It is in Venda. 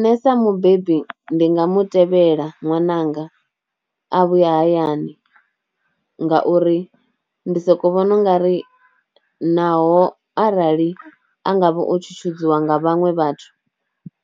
Nṋe sa mubebi ndi nga mu tevhela ṅwananga a vhuya hayani, ngauri ndi soko vhona u nga ri naho arali a ngavha o tshutshudziwa nga vhaṅwe vhathu